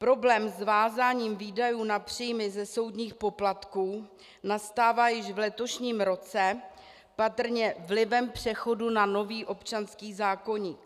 Problém s vázáním výdajů na příjmy ze soudních poplatků nastává již v letošním roce, patrně vlivem přechodu na nový občanský zákoník.